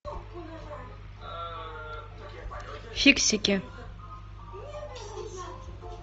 фиксики